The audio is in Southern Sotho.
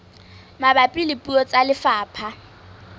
mabapi le puo tsa lefapha